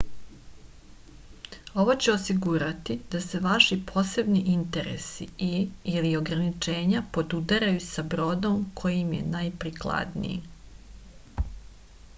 ово ће осигурати да се ваши посебни интереси и/или ограничења подударају са бродом који им је најприкладнији